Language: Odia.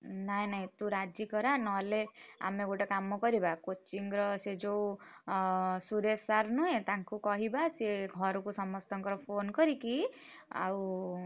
ନାଇଁ ନାଇଁ ତୁ ରାଜି କରା ନହେଲେ ଆମେ ଗୋଟେ କାମ କରିବା coaching ର ସେ ଯୋଉ ଅ ସୁରେଶ sir ନୁହେଁ ତାଙ୍କୁ କହିବା ସିଏ ଘରକୁ ସମସ୍ତଙ୍କର phone କରିକି ଆଉ।